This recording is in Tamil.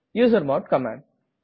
usermod command